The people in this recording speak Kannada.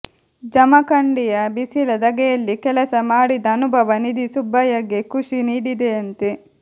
ಜಮಖಂಡಿಯ ಬಿಸಿಲ ಧಗೆಯಲ್ಲಿ ಕೆಲಸ ಮಾಡಿದ ಅನುಭವ ನಿಧಿ ಸುಬ್ಬಯ್ಯಗೆ ಖುಷಿ ನೀಡಿದೆಯಂತೆ